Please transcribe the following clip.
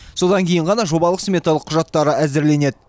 содан кейін ғана жобалық сметалық құжаттары әзірленеді